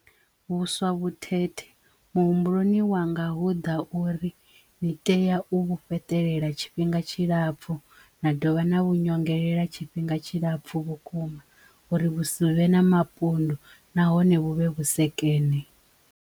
Vhuswa vhutete muhumbuloni wanga hu ḓa uri ni tea u vhu fhaṱelela tshifhinga tshilapfu na dovha na vhu nyongelela tshifhinga tshilapfu vhukuma uri vhusi vhe na mapundu nahone vhu vhe vhusekene.